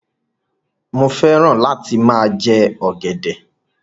Mo fẹ́ràn lá ti máa jẹ ọ̀gẹ̀dẹ̀.